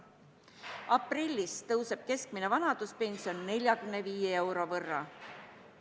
Aprillis tõuseb keskmine vanaduspension 45 euro võrra.